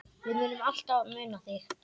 Við munum alltaf muna þig.